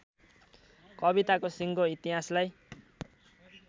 कविताको सिङ्गो इतिहासलाई